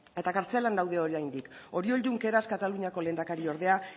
eta kartzelan daude oraindik oriol junqueras kataluniako lehendakariordea